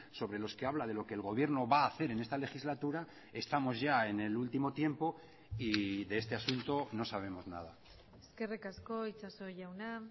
sobre los que habla de lo que el gobierno va a hacer en esta legislatura estamos ya en el último tiempo y de este asunto no sabemos nada eskerrik asko itxaso jauna